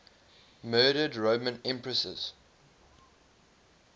murdered roman empresses